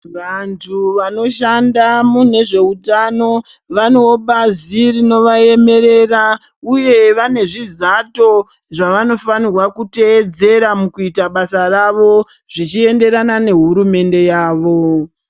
Vantu vanoshando mune zvehutano vane bazi rinovaemerera uye vane zvizato zvavanofanirwa kuteedzera mukuita basa rawo zvichienderana nehurumende yawo.